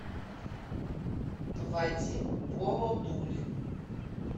вадим бородулин